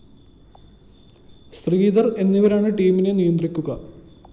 ശ്രീധര്‍ എന്നിവരാണ് ടീമിനെ നിയന്ത്രിക്കുക